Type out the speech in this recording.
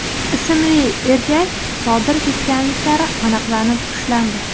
ismli erkak sodir etganliklari aniqlanib, ushlandi.